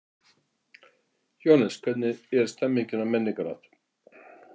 Jóhannes: Hvernig er stemmningin á Menningarnótt?